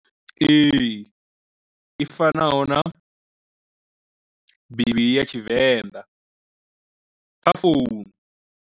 Ee i fanaho na bivhili ya tshivenḓa kha founu.